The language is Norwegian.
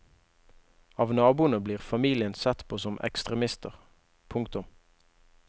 Av naboene blir familien sett på som ekstremister. punktum